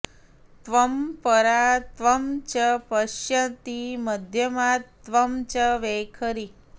त्वं परा त्वं च पश्यन्ती मध्यमा त्वं च वैखरी